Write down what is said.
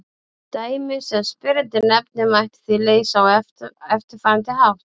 Dæmið sem spyrjandi nefnir mætti því leysa á eftirfarandi hátt.